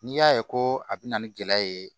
N'i y'a ye ko a bɛ na ni gɛlɛya ye